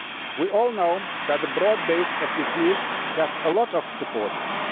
We all know that a broad based FTT has a lot of supporters